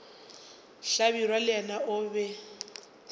hlabirwa le yena o be